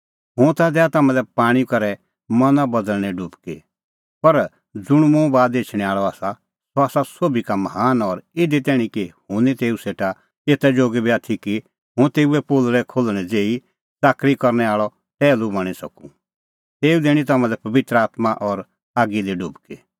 हुंह ता दैआ तम्हां लै पाणीं करै मना बदल़णें डुबकी पर ज़ुंण मुंह बाद एछणैं आल़अ आसा सह आसा सोभी का महान और इधी तैणीं कि हुंह निं तेऊ सेटा एता जोगी बी आथी कि हुंह तेऊए पोलल़ै खोल्हणैं ज़ेही च़ाकरी करनै आल़अ टैहलू बणीं सकूं तेऊ दैणीं तम्हां लै पबित्र आत्मां और आगी दी डुबकी